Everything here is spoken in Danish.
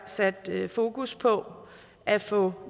sat fokus på at få